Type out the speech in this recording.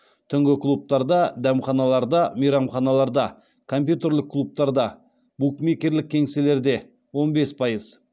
түнгі клубтарда дәмханаларда мейрамханаларда компьютерлік клубтарда букмекерлік кеңселерде он бес пайыз